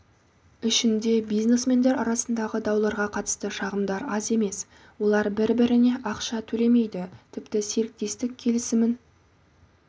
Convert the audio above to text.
ішінде бизнесмендер арасындағы дауларға қатысты шағымдар аз емес олар бір-біріне ақша төлемейді тіпті серіктестік келісімін